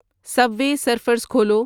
سب وے surfers کھولو